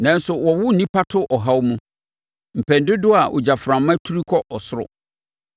Nanso wɔwo nnipa to ɔhaw mu mpɛn dodoɔ a ogyaframa turi kɔ ɔsoro.